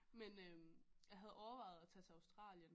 Men øh jeg havde overvejet at tage til Australien